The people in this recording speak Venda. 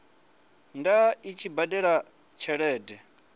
ḓa a tshi badela tshelede